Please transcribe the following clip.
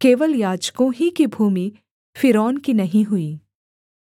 केवल याजकों ही की भूमि फ़िरौन की नहीं हुई